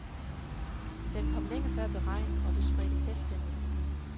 Den kom længe før beregnet, og det spredte feststemning i bilen.